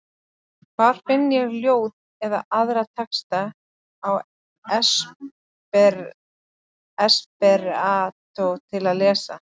Hvar finn ég ljóð eða aðra texta á esperantó til að lesa?